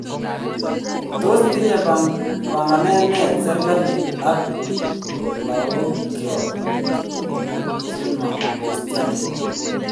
Tos tinye panganet ne serikalit ag logokiok chemo kristianik.